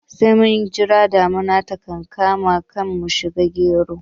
Sai mun jira damuna ta kankama kan mu shuka geron